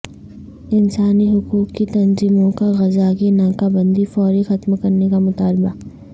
انسانی حقوق کی تنظیموں کا غزہ کی ناکہ بندی فوری ختم کرنے کا مطالبہ